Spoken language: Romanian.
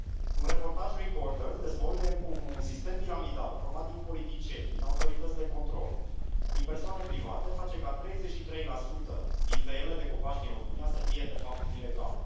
Un reportaj Recorder dezvăluie cum un sistem piramidal format din politicieni, din autorități de control, din persoane private face ca 33 din tăierile de copaci din România să fie, de fapt, ilegale.